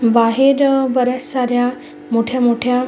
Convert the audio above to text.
बाहेर बऱ्याच साऱ्या मोठ्या मोठ्या--